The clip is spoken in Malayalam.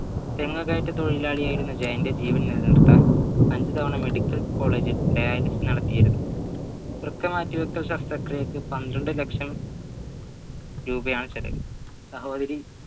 തെങ്ങ് കയറ്റ തൊഴിലാളിയായിരുന്ന ജയന്റെ ജീവൻ നിലനിർത്താൻ അഞ്ചു തവണ medical college ൽ dialysis നടത്തിയിരുന്നു വൃക്ക മാറ്റിവയ്ക്കൽ ശസ്ത്രക്രിയയ്ക്ക് പന്ത്രണ്ട് ലക്ഷം രൂപയാണ് ചിലവ് സഹോദരി